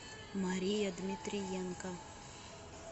мария дмитриенко